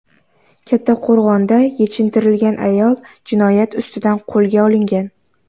Kattaqo‘rg‘onda yechintirilgan ayol jinoyat ustida qo‘lga olingan.